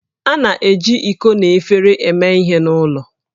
A na-eji iko na efere eme ihe n'ụlọ